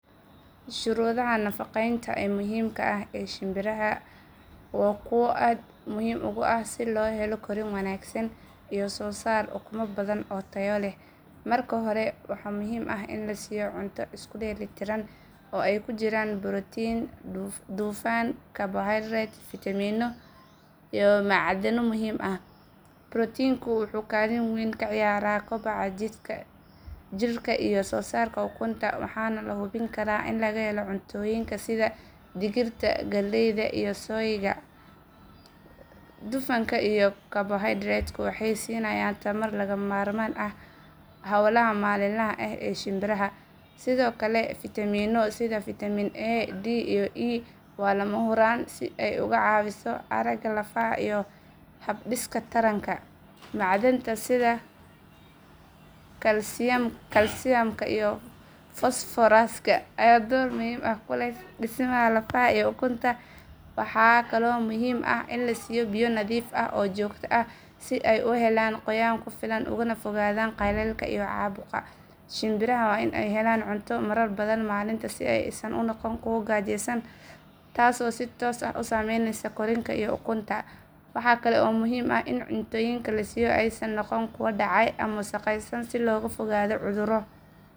Shuruudaha nafaqeynta ee muhimka ah ee shimbiraha Guinea waa kuwo aad muhiim ugu ah si loo helo korriin wanaagsan iyo soosaar ukumo badan oo tayo leh. Marka hore, waxaa muhiim ah in la siiyo cunto isku dheelitiran oo ay ku jiraan borotiin, dufan, karbohaydarayt, fiitamiino iyo macdano muhiim ah. Borotiinku wuxuu kaalin weyn ka ciyaaraa kobaca jidhka iyo soosaarka ukunta waxaana la hubin karaa in laga helo cuntooyinka sida digirta, galleyda iyo soyga. Dufanka iyo karbohaydaraytku waxay siinayaan tamar lagama maarmaan u ah hawlaha maalinlaha ah ee shimbiraha. Sidoo kale, fiitamiino sida fiitamiin A, D, iyo E waa lama huraan si ay uga caawiso aragga, lafaha iyo habdhiska taranka. Macdanta sida kalsiyamka iyo fosfooraska ayaa door muhiim ah ku leh dhismaha lafaha iyo ukunta. Waxaa kaloo muhiim ah in la siiyo biyo nadiif ah oo joogto ah si ay u helaan qoyaan ku filan ugana fogaadaan qallaylka iyo caabuqa. Shimbiraha waa in ay helaan cunto marar badan maalintii si aysan u noqon kuwo gaajeysan taasoo si toos ah u saameyneysa korriinka iyo ukunta. Waxa kale oo muhiim ah in cuntooyinka la siiyo aysan noqon kuwo dhacay ama wasakhaysan si looga fogaado cudurro.